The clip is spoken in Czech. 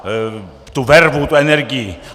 Tu vervu, tu energii.